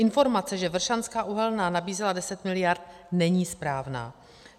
Informace, že Vršanská uhelná nabízela 10 miliard, není správná.